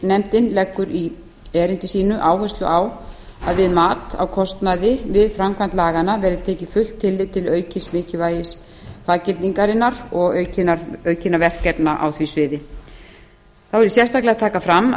eftirlitsnefndin leggur í bréfi sínu áherslu á að við mat á kostnaði við frmavkæmd laganna verði tekið fullt tillit til aukins mikilvægis faggildingarinnar og aukinna verkefna á var sviði þá vil ég sérstaklega taka fram